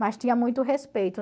Mas tinha muito respeito.